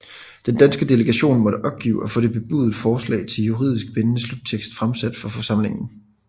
Den danske delegation måtte opgive at få det bebudede forslag til juridisk bindende sluttekst fremsat for forsamlingen